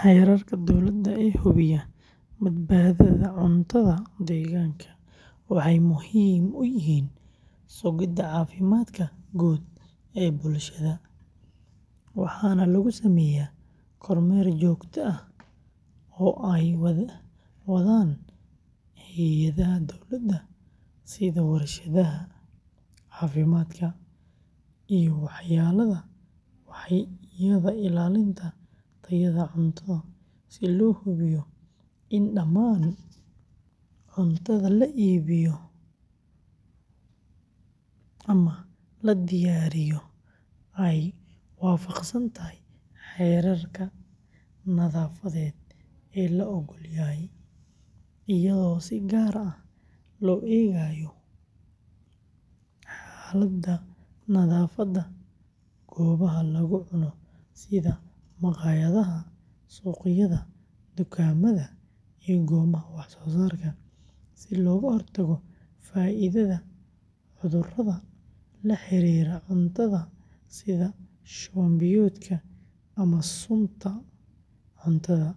Xeerarka dowladda ee hubiya badbaadada cuntada deegaanka waxay muhiim u yihiin sugidda caafimaadka guud ee bulshada, waxaana lagu sameeyaa kormeer joogto ah oo ay wadaan hay’adaha dowladda sida wasaaradda caafimaadka iyo waaxyada ilaalinta tayada cuntada si loo hubiyo in dhammaan cuntada la iibiyo ama la diyaariyo ay waafaqsan tahay heerarka nadaafadeed ee la oggol yahay, iyadoo si gaar ah loo eegayo xaaladda nadaafadda goobaha lagu cuno sida maqaayadaha, suuqyada, dukaamada, iyo goobaha wax-soo-saarka si looga hortago faafidda cudurrada la xiriira cuntada sida shuban-biyoodka ama sunta cuntada,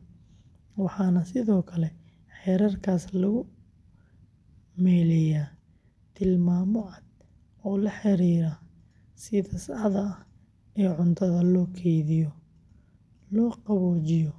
waxaana sidoo kale xeerarkaas lagu meeleeyaa tilmaamo cad oo la xiriira sida saxda ah ee cuntada loo kaydiyo, loo qaboojiyo ama loo kululeeyo.